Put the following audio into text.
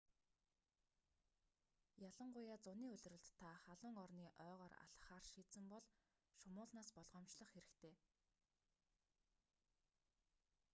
ялангуяа зуны улиралд та халуун орны ойгоор алхахаар шийдсэн бол шумуулнаас болгоомжлох хэрэгтэй